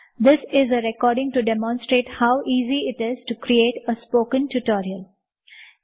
this is a demo recording to demonstrate how easy it is to create a spoken tutorial